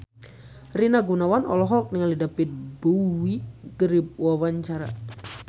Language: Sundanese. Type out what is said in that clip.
Rina Gunawan olohok ningali David Bowie keur diwawancara